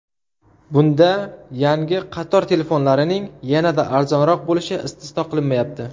Bunda yangi qator telefonlarining yanada arzonroq bo‘lishi istisno qilinmayapti.